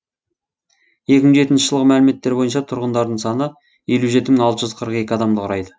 екі мың жетінші жылғы мәліметтер бойынша тұрғындарының саны елу жеті мың алты жүз қырық екі адамды құрайды